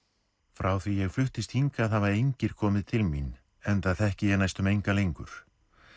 frá því ég fluttist hingað hafa engir komið til mín enda þekki ég næstum enga lengur